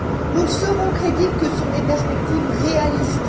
Nous ne serons crédibles que sur des perspectives réalistes.